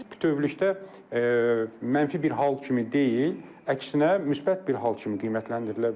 Bütövlükdə mənfi bir hal kimi deyil, əksinə müsbət bir hal kimi qiymətləndirilə bilər.